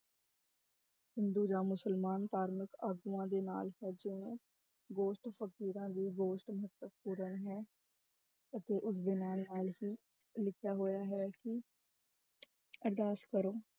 ਹਿੰਦੂ ਜਾਂ ਮੁਸਲਮਾਨ ਧਾਰਮਕ ਆਗੂਆਂ ਦੇ ਨਾਲ ਹੈ ਜਿਵੇਂ ਗੋਸ਼ਟ ਫ਼ਕੀਰਾਂ ਮਹੱਤਵਪੂਰਨ ਹੈ ਅਤੇ ਉਸਦੇ ਨਾਲ ਨਾਲ ਹੀ ਲਿਖਿਆ ਹੋਇਆ ਹੈ ਕਿ ਅਰਦਾਸ ਕਰੋ